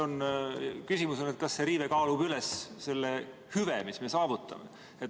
Aga küsimus on, kas see riive kaalub üles selle hüve, mille me saavutame.